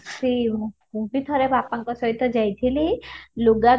ସେଇ ମୁଁ ବି ଥରେ ବାପାଙ୍କ ସହିତ ଯାଇଥିଲି ଲୁଗା